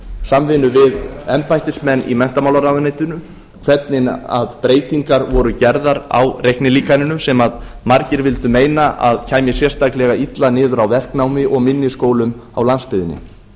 samvinnu við embættismenn í menntamálaráðuneytinu hvernig breytingar voru gerðar á reiknilíkaninu sem margir vildu meina að kæmi sérstaklega illa niður á verknámi og minni skólum á landsbyggðinni